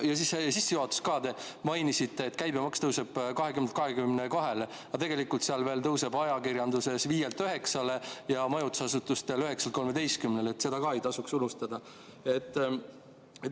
Ja siis sissejuhatuses te mainisite, et käibemaks tõuseb 20%-lt 22%-le, aga tegelikult see tõuseb ajakirjandusel 5%-lt 9%-le ja majutusasutustel 9%-lt 13%-le – seda ei tasuks ka unustada.